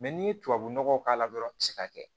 n'i ye tubabu nɔgɔ k'a la dɔrɔn i ti se ka kɛ